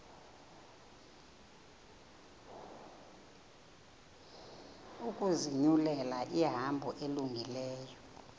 ukuzinyulela ihambo elungileyo